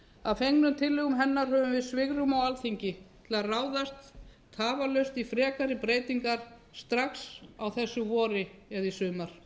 að fengnum tillögum hennar höfum við svigrúm á alþingi til að ráðast tafarlaust í frekari breytingar strax á þessu vori eða í sumar